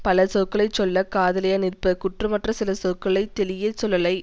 பல சொற்களை சொல்ல காதலியா நிற்பர் குற்றமற்ற சில சொற்களை தெளியச் சொல்லலை